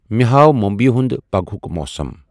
مے ہاو ممبیِہ ہُند پگہۭوک موسم ۔